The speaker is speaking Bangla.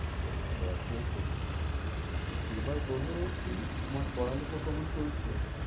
খুব ভালো আছে খুব ভালো আছে। এবার বলো কী তোমার পড়ালেখা কেমন চলছে?